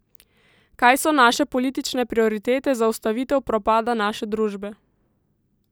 Kaj so naše politične prioritete za ustavitev propada naše družbe?